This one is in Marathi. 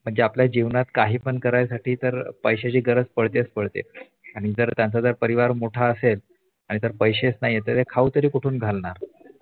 म्हणजे आपल्या जीवनात काही पण करायासाठी तर पैशाची गरज पडते तर पडतेच आणि जर त्यांचा परिवार मोठा असेल आणि जर पैशैच नाहीत तर खाऊ कुठून घालणार